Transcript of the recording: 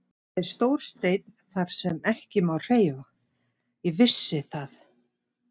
Það er stór steinn þar sem ekki má hreyfa, ég vissi það.